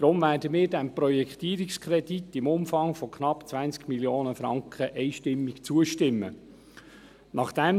Deshalb werden wir diesem Projektierungskredit im Umfang von knapp 20 Mio. Franken einstimmig zustimmen.